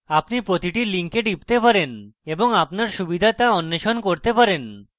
আপনি প্রতিটি link টিপতে পারেন এবং আপনার সুবিধা তা অন্বেষণ করতে পারেন